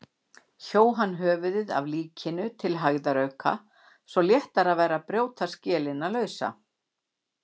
Hjó hann höfuðið af líkinu til hægðarauka svo léttara væri að brjóta skelina lausa.